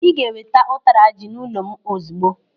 Ị ga-eweta ụtara ji n'ụlọ m ozigbo.